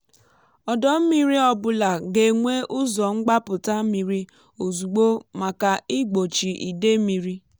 ọdọ mmiri ọ bụla ga-enwe ụzọ mgbapụta mmiri ozugbo maka igbochi ide mmiri.